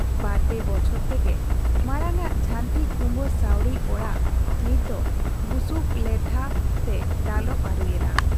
ᱵᱟᱨ ᱯᱮ ᱵᱚᱪᱷᱚᱨ ᱛᱮᱜᱮ ᱢᱟᱬᱟᱝ ᱟᱜ ᱡᱷᱟᱱᱴᱤ ᱠᱩᱸᱵᱟᱹ ᱥᱟᱹᱣᱲᱤ ᱚᱲᱟᱜ ᱱᱤᱛ ᱫᱚ ᱵᱩᱥᱩᱵ ᱞᱮᱸᱰᱷᱟ ᱛᱮ ᱫᱟᱞᱚᱵ ᱟᱹᱨᱩᱭᱮᱱᱟ ᱾